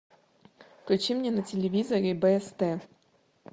включи мне на телевизоре бст